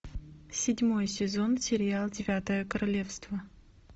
седьмой сезон сериал девятое королевство